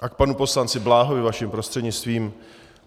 A k panu poslanci Bláhovi vaším prostřednictvím.